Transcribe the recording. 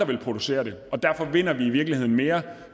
vil producere det og derfor vinder vi i virkeligheden mere